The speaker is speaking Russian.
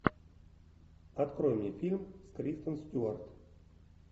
открой мне фильм с кристен стюарт